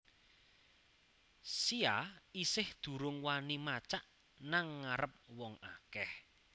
Sia isih durung wani macak nang ngarep wong akeh